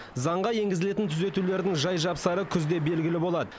заңға енгізілетін түзетулердің жай жапсары күзде белгілі болады